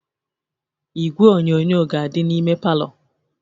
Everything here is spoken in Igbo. Igwe onyonyo ga-adị n'ime palọ